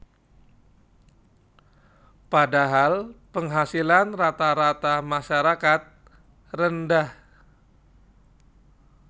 Padahal penghasilan rata rata masyarakat rendah